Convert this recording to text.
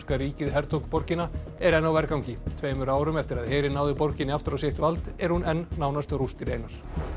ríkið hertók borgina er enn á vergangi tveimur árum eftir að herinn náði borginni aftur á sitt vald er hún enn nánast rústir einar